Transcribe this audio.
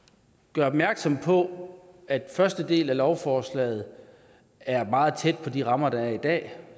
gør opmærksom på at den første del af lovforslaget er meget tæt på de rammer der er i dag